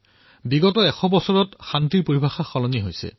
বিগত ১০০টা বৰ্ষত শান্তিৰ পৰিভাষা পৰিৱৰ্তন হৈছে